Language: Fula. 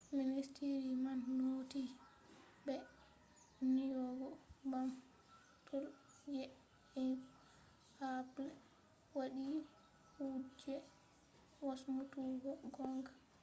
ministiri man noti be nyogu ɓamtol je apple wadi kuje wasmutuggo gonga